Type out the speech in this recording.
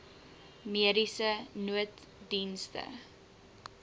mediese nooddienste